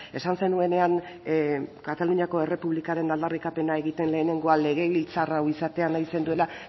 esan zenuenean kataluniako errepublikaren aldarrikapena egiten lehenengoa legebiltzar hau izatea nahi zenuela